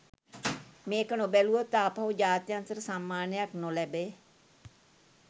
මේක නොබැලුවොත් ආපහු ජාත්‍යන්තර සම්මානයක් නොලැබෙ